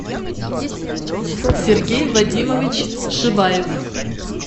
сергей вадимович шибаев